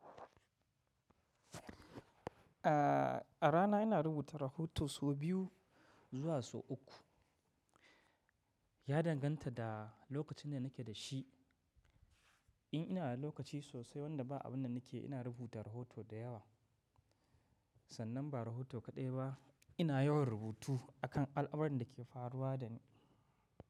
A rana ina rubuta rahoto sau biyu zuwa sau uku. Ya danganta da lokacin da nake da shi. In ina da lokaci sosai wanda ba abun da nake ina rubuta rahoto da yawa, sannan ba rahoto kaɗai ba ina yawan rubutu akan al'amuran da ke faruwa da ni.